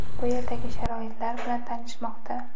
bu yerdagi sharoitlar bilan tanishmoqda.